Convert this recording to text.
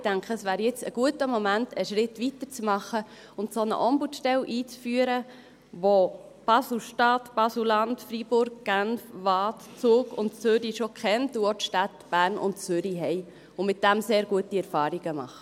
Ich denke, es wäre jetzt ein guter Moment, einen Schritt weiter zu machen und eine solche Ombudsstelle einzuführen, wie sie Basel-Stadt, Basel-Land, Freiburg, Genf, Waadt, Zug und Zürich und auch die Städte Bern und Zürich schon kennen und damit sehr gute Erfahrungen machen.